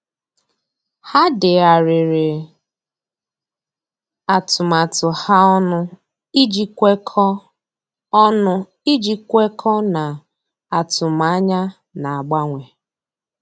Há dèghàrị̀rị̀ atụmatụ ha ọnụ iji kwekọ́ọ́ ọnụ iji kwekọ́ọ́ n’átụ́mànyá nà-ágbànwé.